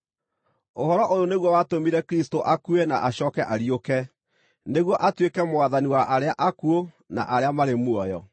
Ũhoro ũyũ nĩguo watũmire Kristũ akue na acooke ariũke, nĩguo atuĩke Mwathani wa arĩa akuũ na arĩa marĩ muoyo.